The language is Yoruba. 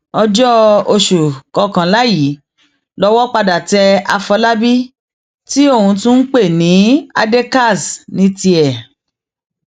ọjọ oṣù kọkànlá yìí lowó padà tẹ àfọlábí tí ọn tún ń pè ní adékaz ní tiẹ